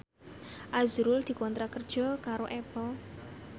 azrul dikontrak kerja karo Apple